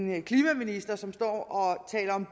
med en klimaminister som står og taler om